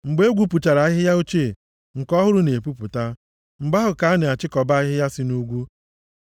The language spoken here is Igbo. Mgbe e gbupụchara ahịhịa ochie, nke ọhụrụ na-epupụta, mgbe ahụ ka a na-achịkọbata ahịhịa sị nʼugwu.